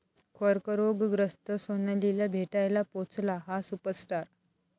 कर्करोगग्रस्त सोनालीला भेटायला पोहोचला 'हा' सुपरस्टार